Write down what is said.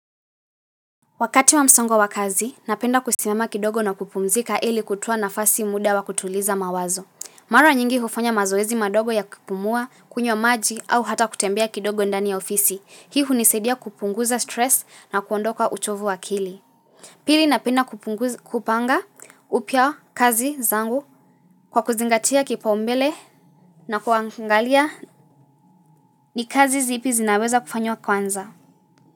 Wakati wa msongo wa kazi, napenda kusimama kidogo na kupumzika ili kutoa nafasi muda wa kutuliza mawazo. Mara nyingi hufanya mazoezi madogo ya kupumua, kunywa maji au hata kutembea kidogo ndani ya ofisi. Hii hunisaidia kupunguza stress na kuondoka uchovu wa akili. Pili napenda kupanga upya kazi zangu kwa kuzingatia kipaumbele na kuangalia ni kazi zipi zinaweza kufanywa kwanza.